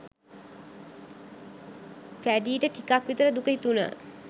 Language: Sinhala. පැඞීට ටිකක් විතර දුක හිතුණා.